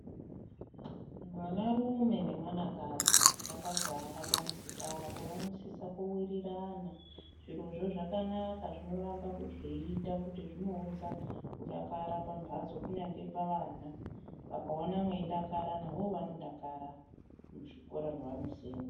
Mwanarume nemwanakadzi vakagara pamuzi pavo vanosisa kuwirirana. Zvirozvo zvakanaka zvinoramba kuzviyita kuti zvinowunza kudakara pambatso kunyange pavana vakawona umwe eyidakarana nawo vanodakara muzvikora mavanosenda.